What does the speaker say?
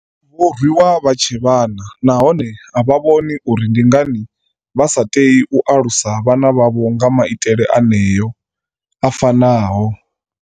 Vho rwiwa vha tshe vhana nahone a vha vhoni uri ndi ngani vha sa tei u alusa vhana vhavho nga maitele aneo a fa naho.